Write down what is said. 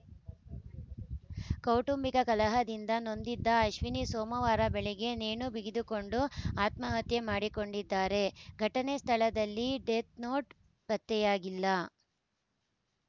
ಕೌಟುಂಬಿಕ ಕಲಹದಿಂದ ನೊಂದಿದ್ದ ಅಶ್ವಿನಿ ಸೋಮವಾರ ಬೆಳಗ್ಗೆ ನೇಣು ಬಿಗಿದುಕೊಂಡು ಆತ್ಮಹತ್ಯೆ ಮಾಡಿಕೊಂಡಿದ್ದಾರೆ ಘಟನೆ ಸ್ಥಳದಲ್ಲಿ ಡೆತ್‌ನೋಟ್‌ ಪತ್ತೆಯಾಗಿಲ್ಲ